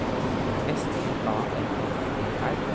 S T A M M E R